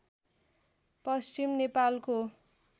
पश्चिम नेपालको